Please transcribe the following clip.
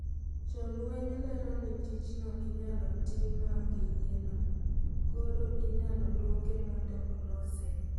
jo lweny lero ni tijno inyalo tim maonge yie no koro inyalo duoke mondo olose